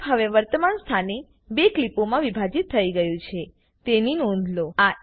clip હવે વર્તમાન સ્થાને 2 ક્લીપોમાં વિભાજીત થઇ ગયું છે તેની નોંધ લો